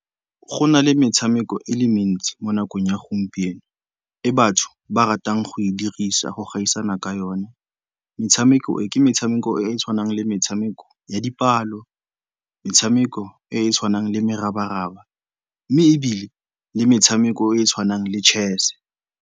Go na le metshameko e le mentsi mo nakong ya gompieno e batho ba ratang go e dirisa go gaisana ka yone. Metshameko e ke metshameko e e tshwanang le metshameko ya dipalo, metshameko e e tshwanang le merabaraba mme ebile le metshameko e e tshwanang le chess.